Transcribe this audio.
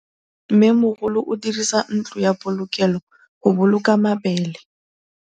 Mmêmogolô o dirisa ntlo ya polokêlô, go boloka mabele.